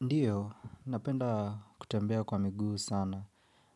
Ndiyo, napenda kutembea kwa miguu sana.